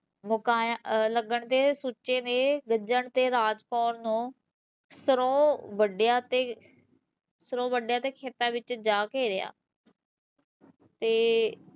ਮੁਕਾਯਾ ਲੱਗਣ ਤੇ ਸੁਚੇ ਨੇ ਗੱਜਣ ਤੇ ਰਾਜ ਕੌਰ ਨੂ ਸਰੋ ਵੱਢਿਆ ਤੇ ਸਿਰੋਂ ਵੱਢਿਆ ਤੇ ਖੇਤਾਂ ਵਿੱਚ ਜਾ ਘੇਰਿਆ ਤੇ